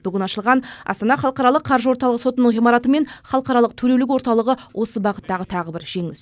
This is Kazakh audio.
бүгін ашылған астана халықаралық қаржы орталығы сотының ғимараты мен халықаралық төрелік орталығы осы бағыттағы тағы бір жеңіс